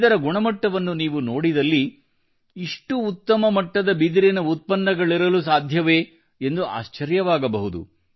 ಇದರ ಗುಣಮಟ್ಟವನ್ನು ನೀವು ನೋಡಿದಲ್ಲಿ ಇಷ್ಟು ಉತ್ತಮ ಮಟ್ಟದ ಬಿದಿರಿನ ಉತ್ಪನ್ನಗಳಿರಲು ಸಾಧ್ಯವೇ ಎಂದು ಆಶ್ಚರ್ಯವಾಗಬಹುದು